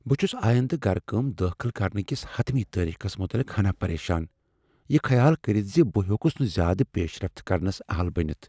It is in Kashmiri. بہٕ چُھس آیندہ گركٲم دٲخل کرنہٕ کس حتمی تٲریخس متعلق ہنا پریشان یہ خیال کٔرتھ ز بہٕ ہیوكُس نہٕ زیادٕ پیشرفت كرنس اہل بنِتھ ۔